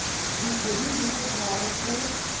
dikgweding di le tharo go